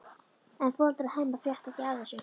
En foreldrar Hemma frétta ekki af þessu.